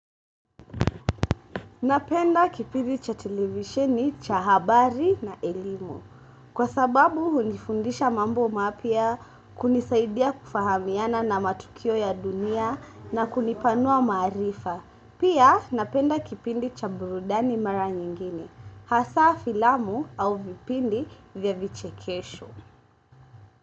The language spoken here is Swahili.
Napenda kipindi cha televisheni, cha habari na elimu. Kwa sababu, hunifundisha mambo mapya, kunisaidia kufahamiana na matukio ya dunia na kunipanua maarifa. Pia, napenda kipindi cha burudani mara nyingine. Hasa filamu au vipindi vya vichekesho.